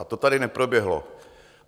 A to tady neproběhlo.